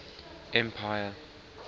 empire